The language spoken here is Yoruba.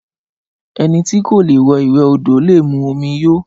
Ẹni tí kò lè wẹ ìwè odò lè mú omí yó